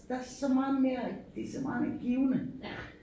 Der så meget mere det så meget mere givende